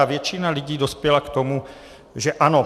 A většina lidí dospěla k tomu, že ano.